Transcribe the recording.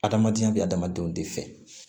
Adamadenya bɛ adamadenw de fɛ